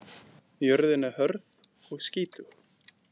Jörðin er hörð og skítug.